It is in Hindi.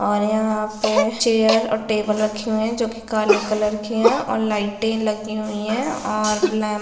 -- और यहां पे चेयर और टेबल रखे हुए है जो कि काले कलर की है और लाइटे लगी हुई है और लैंप --